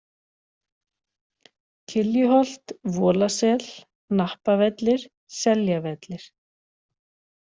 Kyljuholt, Volasel, Hnappavellir, Seljavellir